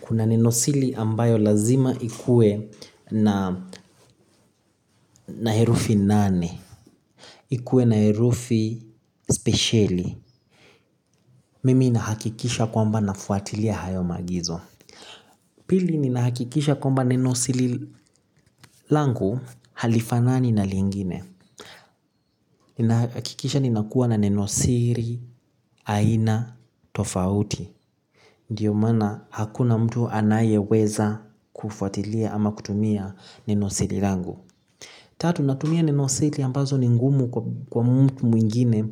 kuna nenosili ambayo lazima ikue na herufi nane. Ikuwe na herufi spesheli. Mimi nahakikisha kwamba nafuatilia hayo maagizo. Pili ninahakikisha kwamba nenosiri langu halifanani na lingine. Ninahakikisha ninakuwa na nenosiri aina tofauti. Ndio maana hakuna mtu anayeweza kufuatilia ama kutumia nenosiri langu. Tatu, natumia ni nenosiri ambazo ni ngumu kwa mtu mwingine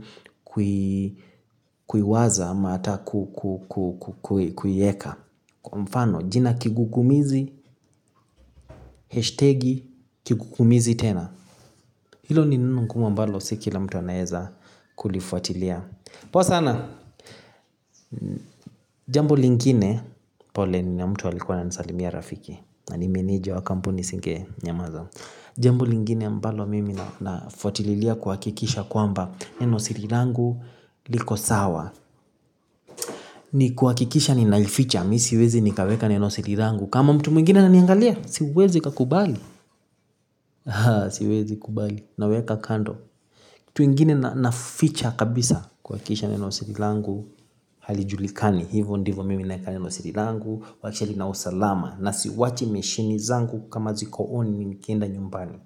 kuiwaza ama hata kuiweka. Kwa mfano, jina kigukumizi, heshtegi, kigukumizi tena. Hilo ni neno ngumu ambalo si kila mtu anaeza kulifuatilia. Poa sana. Jambo lingine. Pole ni mtu alikua ananisalimia rafiki. Na ni meneja wa kampuni singenyamaza. Jambo lingine ambalo mimi nafutililia kuhakikisha kwamba nenosiri langu liko sawa. Ni kuhakikisha ninaificha. Mi siwezi nikaweka nenosiri langu kama mtu mwingine ananiangalia, siwezi nikakubali. Aah! Siwezi kubali. Naweka kando. Kitu ingine naficha kabisa kuhakikisha nenosiri langu. Halijulikani. Hivo ndivo mimi naeka nenosiri langu kuhakikisha lina usalama, na siwachi meshini zangu kama ziko 'on' mimi nikienda nyumbani.